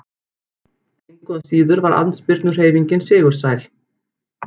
Engu að síður var andspyrnuhreyfingin sigursæl.